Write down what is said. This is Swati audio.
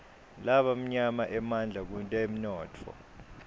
labamnyama emandla kutemnotfo